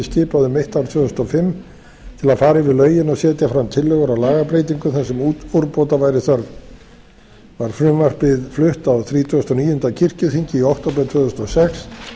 skipaði um mitt ár tvö þúsund og fimm til að fara yfir lögin og setja fram tillögur að lagabreytingum þar sem úrbóta væri þörf var frumvarpið flutt á þrítugasta og níunda kirkjuþingi í október tvö þúsund og sex